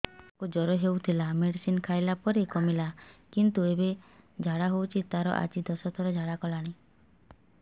ଛୁଆ କୁ ଜର ହଉଥିଲା ମେଡିସିନ ଖାଇଲା ପରେ କମିଲା କିନ୍ତୁ ଏବେ ଝାଡା ହଉଚି ତାର ଆଜି ଦଶ ଥର ଝାଡା କଲାଣି